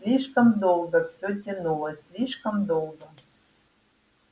слишком долго всё тянулось слишком долго